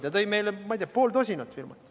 Ta tõi meile, ma ei tea, pool tosinat firmat.